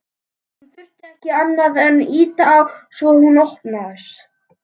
Hann þurfti ekki annað en ýta á svo hún opnaðist.